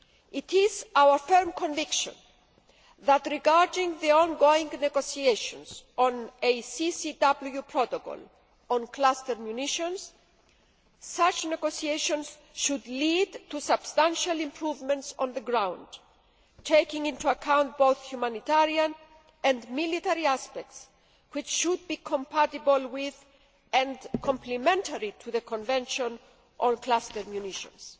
It is our firm conviction that, regarding the ongoing negotiations on a CCW Protocol on cluster munitions, such negotiations should lead to substantial improvements on the ground taking into account both humanitarian and military aspects which should be compatible with, and complementary to, the Convention on Cluster Munitions.